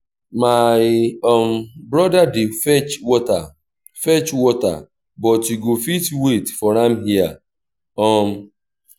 my um broda dey fetch water fetch water but you go fit wait for am here um